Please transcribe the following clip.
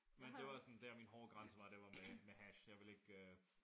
Men det var sådan dér min hårde grænse var det var med med hash